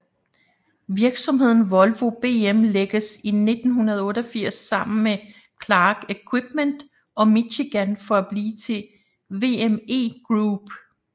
Virksomheden Volvo BM lægges i 1988 sammen med Clark Equipment og Michigan for at blive til VME Group